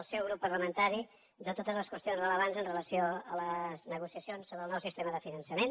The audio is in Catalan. el seu grup parlamentari de totes les qüestions rellevants amb relació a les negociacions sobre el nou sistema de finançament